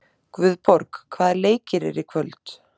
Guðborg, hvaða leikir eru í kvöld?